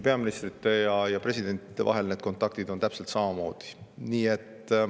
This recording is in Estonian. Peaministrite ja presidentide vahel on need kontaktid täpselt samamoodi.